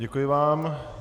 Děkuji vám.